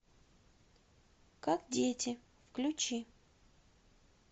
как дети включи